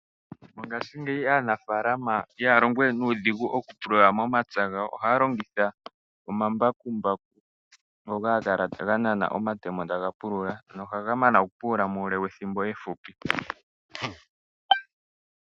Mongashingeyi aanafalama ihaya longowe nuudhigu okupulula momapya gawo, ohaya longitha omambakumbaku ngoka haga kala ga nana omatemo taga pulula, nohaga mana okupulula muule we thimbo efupi.